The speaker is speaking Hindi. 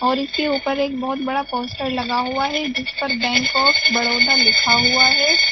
और इसके ऊपर एक बहुत बड़ा पोस्टर लगा हुआ है जिस पर बैंक आफ बड़ौदा लिखा हुआ है।